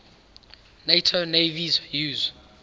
nato navies use